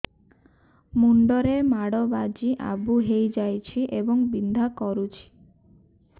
ମୁଣ୍ଡ ରେ ମାଡ ବାଜି ଆବୁ ହଇଯାଇଛି ଏବଂ ବିନ୍ଧା କରୁଛି